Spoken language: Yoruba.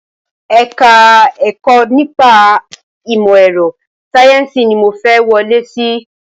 Ẹ̀ka ẹ̀kọ́ nípa ìmọ̀ ẹ̀rọ sayẹ́nsi ni mo fẹ́ wọlé síí